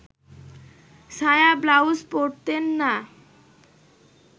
সায়া-ব্লাউজ পরতেন না